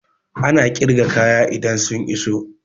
Ana ƙirga kaya idan sun iso